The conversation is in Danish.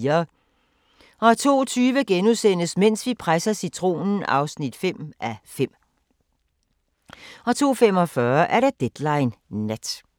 02:20: Mens vi presser citronen (5:5)* 02:45: Deadline Nat